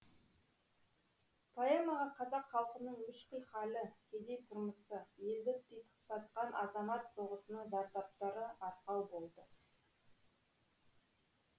поэмаға қазақ халқының мүшкіл халі кедей тұрмысы елді титықтатқан азамат соғысының зардаптары арқау болды